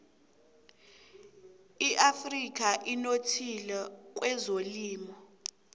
iafrika inothile kwezelimo